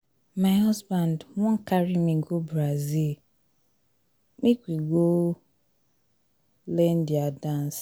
my husband wan carry me go brazil brazil make we go learn their dance